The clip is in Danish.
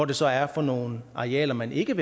det så er for nogle arealer man ikke